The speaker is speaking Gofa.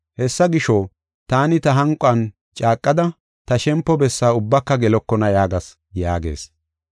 Hessa gisho, taani ta hanquwan caaqada, ‘Ta shempo bessaa ubbaka gelokona’ yaagas” yaagees.